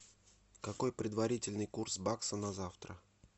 какой предварительный курс бакса на завтра